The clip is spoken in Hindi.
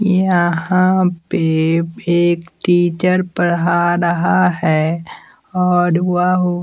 यहाँ पे एक टीचर पढ़ा रहा है और वह--